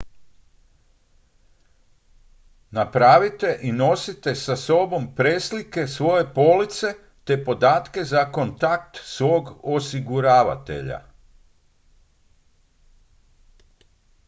napravite i nosite sa sobom preslike svoje police te podatke za kontakt svog osiguravatelja